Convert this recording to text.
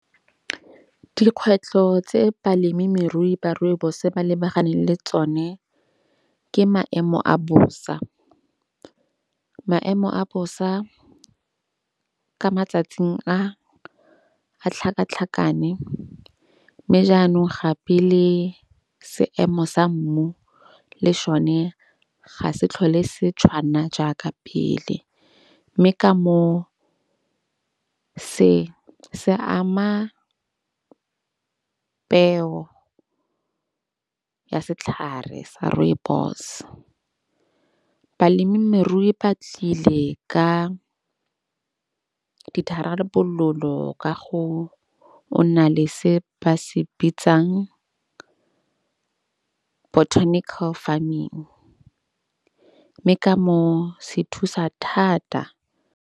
Dikgwetlho tse balemirui ba Rooibos ba lebaganeng le tsone ke maemo a bosa. Maemo a bosa ka matsatsing a a tlhakatlhakane. Mme jaanong gape le seemo sa mmu le šone ga se tlhole se tshwana jaaka pele. Mme ka mo se se ama peo ya setlhare sa Rooibos. Balemirui ba tlile ka ditharabololo kago o na le se ba se bitsang botanical farming. Mme ka moo se thusa thata.